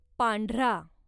पांढरा